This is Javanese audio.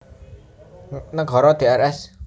Nagara Drs